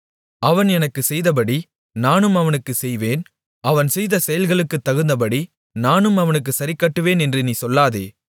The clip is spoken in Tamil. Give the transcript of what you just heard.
அவன் எனக்குச் செய்தபடி நானும் அவனுக்குச் செய்வேன் அவன் செய்த செயல்களுக்குத் தகுந்தபடி நானும் அவனுக்குச் சரிக்கட்டுவேன் என்று நீ சொல்லாதே